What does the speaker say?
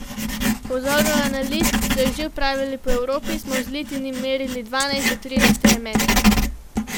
Po vzoru analiz, ki so jih že opravljali po Evropi, smo v zlitini merili dvanajst do trinajst elementov.